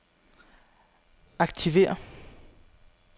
aktiver